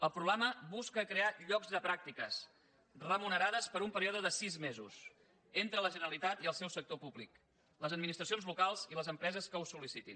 el programa busca crear llocs de pràctiques remunerades per a un període de sis mesos entre la generalitat i el seu sector públic les administracions locals i les empreses que ho sol·licitin